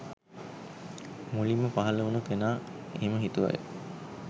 මුලින්ම පහල වුනු කෙනා එහෙම හිතුවය